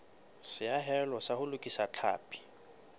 seahelo sa ho lokisa tlhapi